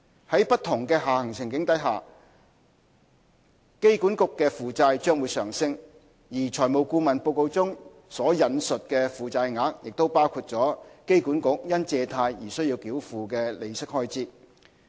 在不同下行處境下，機管局的負債將會上升，而財務顧問報告中引述的負債額已包括機管局因借貸而須繳付的利息開支。